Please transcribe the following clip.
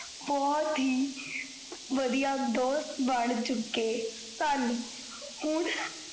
ਬੋਹੋਤ ਹੀ ਵਡਿਆ ਦੋਸਤ ਬਣ ਚੁਕੇ ਸਨ ਹੁਣ